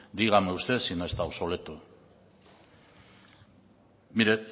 dígame usted si no está obsoleto mire